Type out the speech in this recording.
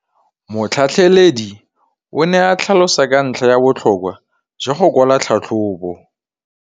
Motlhatlheledi o ne a tlhalosa ka ntlha ya botlhokwa jwa go kwala tlhatlhôbô.